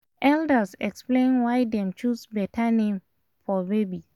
elders explain why dem choose better name for baby